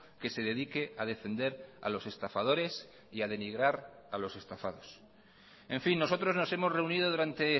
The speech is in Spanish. que se dedique a defender a los estafadores y a denigrar a los estafados en fin nosotros nos hemos reunido durante